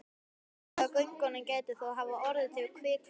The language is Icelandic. Nokkuð af göngunum gæti þó hafa orðið til við kvikuhlaup.